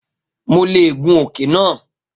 Mo leè gùn òkè náà